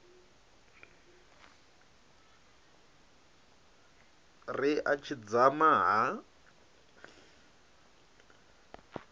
ri a tshi dzama ha